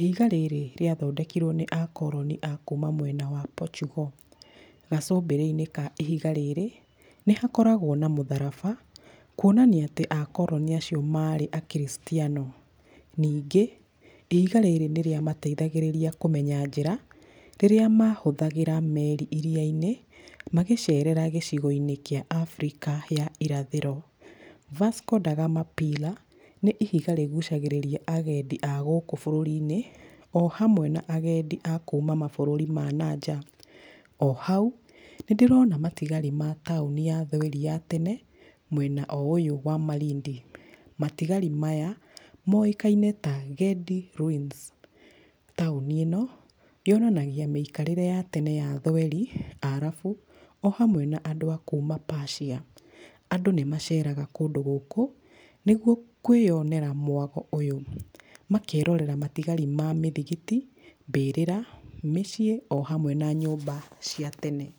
ihiga rĩrĩ rĩa thondekirwo nĩ akoronĩ akuma mwena wa Portugal. Gacumbĩrĩ-inĩ ka ihiga rĩrĩ, nĩ hakoragwo na mũtharaba, kuonania atĩ akoronĩ acio marĩ a kiricitiano, ningĩ, ihiga rĩrĩ nĩ rĩamateithagĩrĩria kũmenya njĩra, rĩrĩa mahũthagĩra meri iria-inĩ, magĩcerera gĩcigo-inĩ kĩa Afrika ya irathĩro, Vasco da Gama Pila,r nĩ ihiga rĩgucagĩrĩria agendi a gũkũ bũrũri-inĩ, o hamwe na agendi akuuma mabũrũri mananja, o hau, nĩ ndĩrona matigari ma taũni yathweri ya tene mwena o ũyũ wa malindi, matigari maya moĩkaine ta Gedi Ruins, taũni ĩno yonanagia mĩkarĩre yatene ya athweri, arabu o hamwe na andũ akuma Pacia, andũ nĩ maceraga kũndũ gũkũ, nĩguo kwĩyonera mwago ũyũ, makerorera matigari ma mĩthigiti, mbĩrĩra, mĩciĩ, o hamwe na nyũmba cia tene.